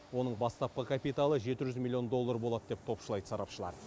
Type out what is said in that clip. оның бастапқы капиталы жеті жүз миллион доллар болады деп топшылайды сарапшылар